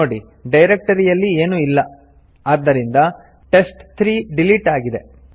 ನೋಡಿ ಡೈರಕ್ಟರಿಯಲ್ಲಿ ಏನು ಇಲ್ಲ ಆದ್ದರಿಂದ ಟೆಸ್ಟ್3 ಡಿಲಿಟ್ ಆಗಿದೆ